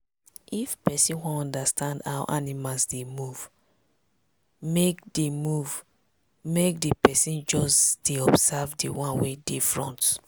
if persin wan understand how animals dey move make dey move make di persin just dey observe d one wey dey front.